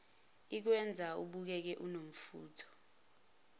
ikwenza ubukeke unomfutho